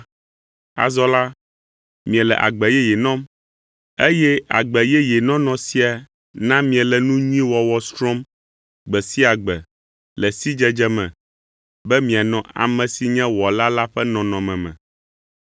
Azɔ la, miele agbe yeye nɔm, eye agbe yeye nɔnɔ sia na miele nu nyui wɔwɔ srɔ̃m gbe sia gbe le sidzedze me, be mianɔ ame si nye Wɔla la ƒe nɔnɔme me.